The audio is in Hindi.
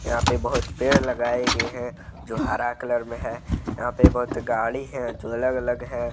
यहां पे बहोत पेड़ लगाए गए हैं जो हरा कलर में है यहां पे बहोत गाड़ी है जो अलग अलग है।